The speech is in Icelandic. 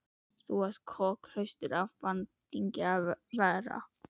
Þú ert kokhraustur af bandingja að vera.